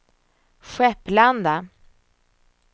Skepplanda